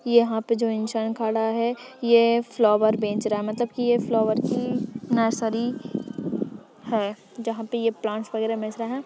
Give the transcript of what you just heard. यहाँ पे जो इन्सान खड़ा है ये फ्लावर बेच रहा है मतलब की ये फ्लाउअर की नर्सरी है जहाँ पर ये प्लांट वगेरा बेच रहा है।